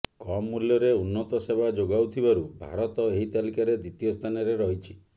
କମ୍ ମୂଲ୍ୟରେ ଉନ୍ନତ ସେବା ଯୋଗାଉଥିବାରୁ ଭାରତ ଏହି ତାଲିକାରେ ଦ୍ୱିତୀୟ ସ୍ଥାନରେ ରହିଛି